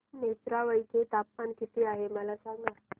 नेत्रावळी चे तापमान किती आहे मला सांगा